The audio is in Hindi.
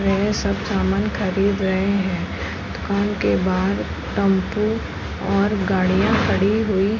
वे सब सामान खरीद रहें हैं। दुकान के बाहर टम्पू और गाड़ियां खड़ी हुई --